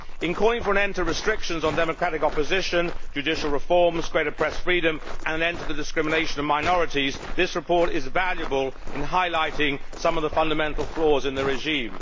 In calling for an end to restrictions on democratic opposition, judicial reforms, greater press freedom and an end to the discrimination of minorities, this report is valuable in highlighting some of the fundamental flaws in the regime.